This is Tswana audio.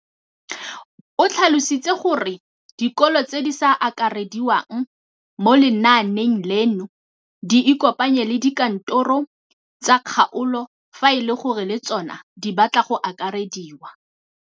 O tlhalositse gore dikolo tse di sa akarediwang mo lenaaneng leno di ikopanye le dikantoro tsa kgaolo fa e le gore le tsona di batla go akarediwa.